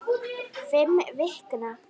Fimm vikna